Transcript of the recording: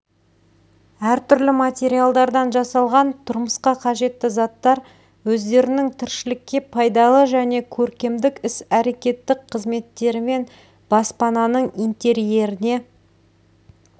әртүрлі материалдардан жасалған тұрмысқа қажетті заттар өздерінің тіршілікке пайдалы және көркемдік іс-әрекеттік қызметтерімен баспананың интерьеріне